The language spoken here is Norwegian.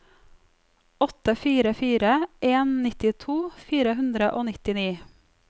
åtte fire fire en nittito fire hundre og nittini